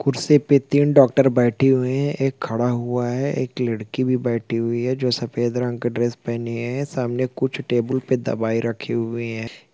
कुर्सी पे तीन डॉक्टर बैठी हुए है एक खड़ा हुआ है एक लड़की भी बैठी हुई है जो सफेद रंग का ड्रेस पहनी है सामने कुछ टेबुल पे दवाई रखी हुए हैं।